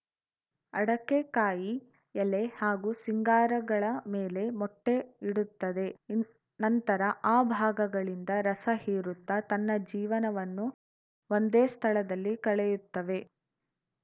ಅಡಕೆ ಕಾಯಿ ಎಲೆ ಹಾಗೂ ಸಿಂಗಾರಗಳ ಮೇಲೆ ಮೊಟ್ಟೆಇಡುತ್ತದೆ ಇನ್ ನಂತರ ಆ ಭಾಗಗಳಿಂದ ರಸ ಹೀರುತ್ತಾ ತನ್ನ ಜೀವನವನ್ನು ಒಂದೇ ಸ್ಥಳದಲ್ಲಿ ಕಳೆಯುತ್ತವೆ